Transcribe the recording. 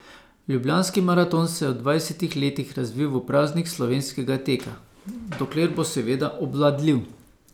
Ljubljanski maraton se je v dvajsetih letih razvil v praznik slovenskega teka, dokler bo seveda obvladljiv.